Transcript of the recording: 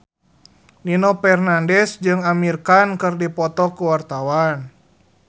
Nino Fernandez jeung Amir Khan keur dipoto ku wartawan